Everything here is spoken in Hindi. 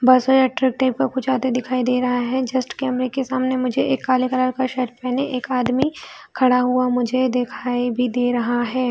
बस हो यह ट्रक टेम्पू कुछ आते दिखाई भी दे रहा है जस्ट कैमरे के सामने मुझे एक काले कलर का शर्ट पहने एक आदमी खड़ा हुआ मुझे दिखाई भी दे रहा है।